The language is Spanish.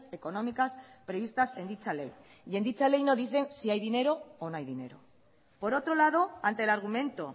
económicas previstas en dicha ley y en dicha ley no dice si hay dinero o no hay dinero por otro lado ante el argumento